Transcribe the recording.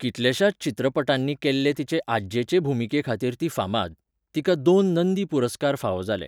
कितल्याशाच चित्रपटांनी केल्ले तिचे आज्जेचे भुमिकेखातीर ती फामाद. तिका दोन नंदी पुरस्कार फावो जाले.